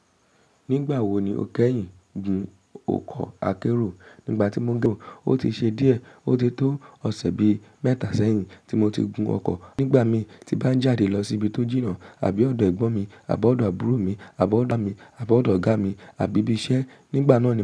Nígbà wo ni o kẹ́yìn gùn ọkọ̀ akérò? Nígbà tí mo gùn, o ti ṣe díẹ̀. O ti tó ọ̀sẹ̀ bi mẹ́ta sẹ́yìn tí mo ti gun ọkọ̀. Nígbà mii ti bá ń jáde lọ síbi tó jìnnà àbí ọ̀dọ̀ ẹ̀gbọ́n mi àbí ọ̀dọ̀ àbúrò mi àbí ọ̀da mi àbí ọ̀dọ̀ ọ̀gá mi àbí ibi iṣẹ́ nígbà náà ni.